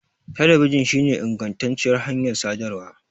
Talabijin shine ingantaccen hanyar sadarwa.